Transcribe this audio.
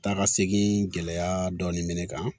Taa ka segin gɛlɛya dɔɔnin bɛ ne kan